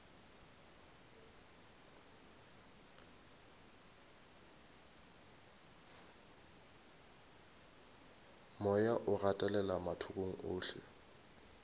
moya o gatelela mathokong ohle